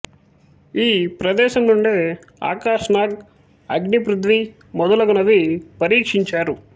ఈ ప్రదేశం నుండే ఆకాశ్ నాగ్ అగ్ని పృథ్వీ మొదలగునవి పరీక్షించారు